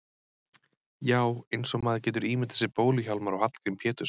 Já, eins og maður getur ímyndað sér Bólu-Hjálmar og Hallgrím Pétursson.